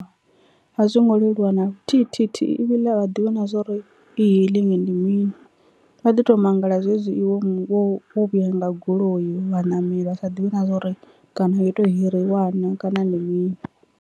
A zwo ngo leluwa na luthihithithi ivhiḽe a vha ḓivhi na zwori e-hailing ndi mini vha ḓi to mangala zwezwi iwe wo vhuya nga goloi vha ṋameli vha sa ḓivhi na zwori kana yo to hirIwa naa kana ndi mini.